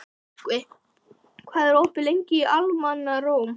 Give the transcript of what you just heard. Myrkvi, hvað er opið lengi í Almannaróm?